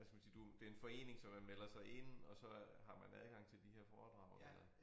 Hvad skal man sige du det en forening så man melder sig ind og så øh har man adgang til de her foredrag eller